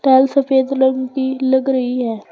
कल सफेद रंग की लग रही है।